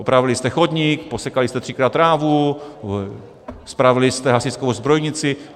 Opravili jste chodník, posekali jste třikrát trávu, spravili jste hasičskou zbrojnici?